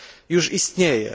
już istnieje.